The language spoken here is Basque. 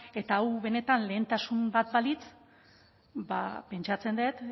eta hau benetan lehentasun bat balitz pentsatzen dut